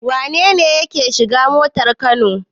Wane ne yake shiga motar Kano?